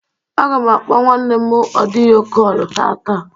Agam akpo nwannem ọdịyo kọlu tata.